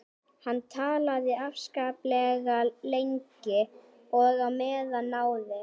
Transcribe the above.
Hann talaði afskaplega lengi og á meðan náði